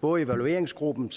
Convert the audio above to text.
både evalueringsgruppen